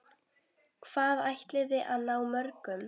Hvað ætliði að ná mörgum?